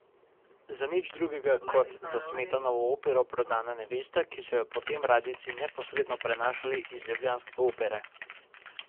Za nič drugega kot za Smetanovo opero Prodana nevesta, ki so jo potem radijci neposredno prenašali iz ljubljanske opere.